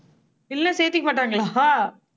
இல்லை சேர்த்துக்க மாட்டாங்களா